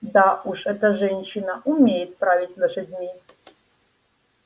да уж эта женщина умеет править лошадьми